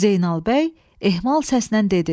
Zeynal bəy ehmal səslə dedi.